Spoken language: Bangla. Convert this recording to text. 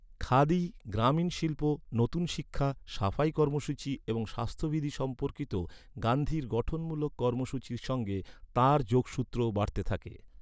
খাদি, গ্রামীণ শিল্প, নতুন শিক্ষা, সাফাই কর্মসূচী এবং স্বাস্থ্যবিধি সম্পর্কিত গান্ধীর গঠনমূলক কর্মসূচীর সঙ্গে তাঁর যোগসূত্রও বাড়তে থাকে।